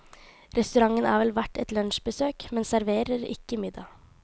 Restauranten er vel verdt et lunsjbesøk, men serverer ikke middag.